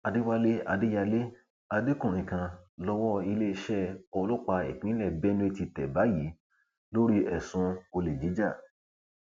àdẹwálé adéyàlẹ adékùnrin kan lowó iléeṣẹ ọlọpàá ìpínlẹ benue ti tẹ báyìí lórí ẹsùn olè jíjà